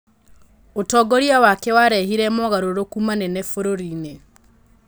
ũtongoria wake warehire mogarũrũku manene bũrũri-inĩ.